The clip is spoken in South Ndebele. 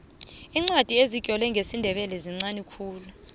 iincwadi ezitlolwe ngesindebele zinqani khulu